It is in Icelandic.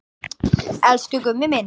Elsku Gummi minn.